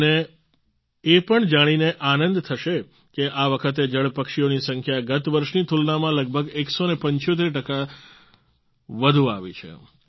તમને પણ એ જાણીને આનંદ થશે કે આ વખતે જળ પક્ષીઓની સંખ્યા ગત વર્ષની તુલનામાં લગભગ 175 ટકા વધુ આવી છે